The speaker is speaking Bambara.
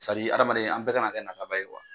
adamaden an bɛɛ kana kɛ nataba ye